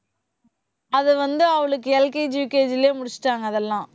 அது வந்து அவளுக்கு LKG UKG லயே முடிச்சிட்டாங்க அதெல்லாம்